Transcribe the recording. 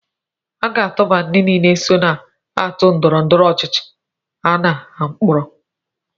A ga-atụba ndị niile so na otu ndọrọndọrọ ọchịchị a na mkpọrọ